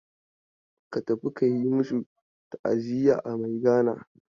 Ka tafi ka yi masu ta'aziya a Maigana.